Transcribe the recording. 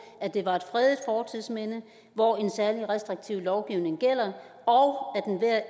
at det var et fredet fortidsminde hvor en særlig restriktiv lovgivning gælder og